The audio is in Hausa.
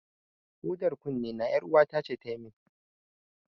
Hudar kunnena, ƴaruwata ce ta yi min.